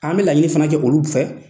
An bɛ laɲini fana kɛ olu fɛ.